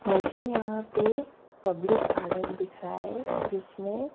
मुझे यहाँ पे पब्लिक --